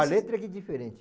A letra aqui é diferente.